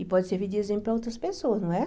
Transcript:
E pode servir de exemplo para outras pessoas, não é?